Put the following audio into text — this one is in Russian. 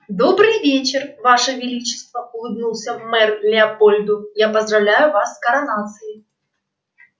добрый вечер ваше величество улыбнулся мэр леопольду я поздравляю вас с коронацией